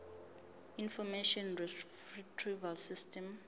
information retrieval system